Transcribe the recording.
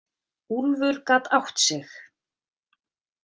Úlfur gat átt sig.